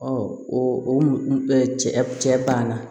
o o cɛ cɛ banna